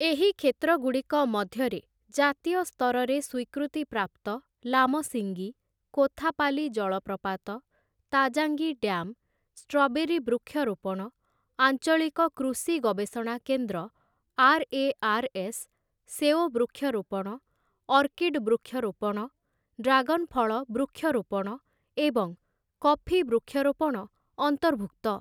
ଏହି କ୍ଷେତ୍ରଗୁଡ଼ିକ ମଧ୍ୟରେ ଜାତୀୟ ସ୍ତରରେ ସ୍ୱୀକୃତିପ୍ରାପ୍ତ ଲାମସିଙ୍ଗି, କୋଥାପାଲି ଜଳପ୍ରପାତ, ତାଜାଙ୍ଗି ଡ୍ୟାମ୍, ଷ୍ଟ୍ରବେରୀ ବୃକ୍ଷରୋପଣ, ଆଞ୍ଚଳିକ କୃଷି ଗବେଷଣା କେନ୍ଦ୍ର, ଆର୍‌ଏଆର୍‌ଏସ୍, ସେଓ ବୃକ୍ଷରୋପଣ, ଅର୍କିଡ୍ ବୃକ୍ଷରୋପଣ, ଡ୍ରାଗନ୍ ଫଳ ବୃକ୍ଷରୋପଣ ଏବଂ କଫି ବୃକ୍ଷରୋପଣ ଅନ୍ତର୍ଭୁକ୍ତ ।